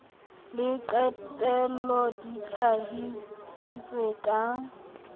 le qetelo di hlahisitswe ka